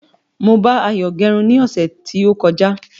Mo bá Ayo gérun ní ọ̀sẹ̀ tí ó kọjá